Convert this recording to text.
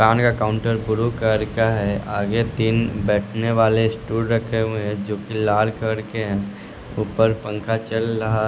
कान का काउंटर आगे तीन बैठने वाले स्टूल रखे हुए हैं जो कि लाल कलर के हैं ऊपर पंखा चल रहा--